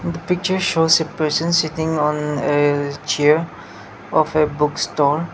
the picture shows a person sitting on a chair of a book store.